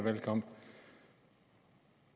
valgkamp